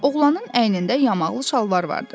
Oğlanın əynində yamaqlı şalvar vardı.